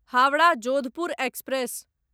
Howrah Jodhpur express